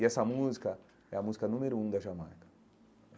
E essa música é a música número um da Jamaica.